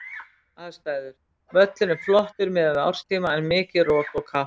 Aðstæður: Völlurinn flottur miðað við árstíma en mikið rok og kalt.